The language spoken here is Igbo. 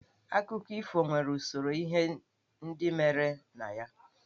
Akụkọ ifo nwere usoro ihe ndị mere na ya.